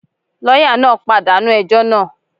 Lọ́yà náà pàdánù ẹjọ́ náà.